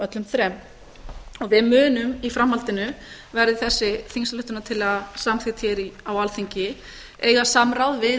öllum þremur við munum í framhaldinu verði þessi á samþykkt hér á alþingi eiga samráð við